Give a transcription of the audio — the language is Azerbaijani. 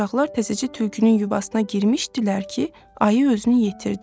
Uşaqlar təzəcə tülkünün yuvasına girmişdilər ki, ayı özünü yetirdi.